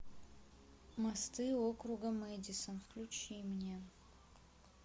мосты округа мэдисон включи мне